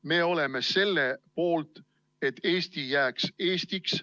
Me oleme selle poolt, et Eesti jääks Eestiks.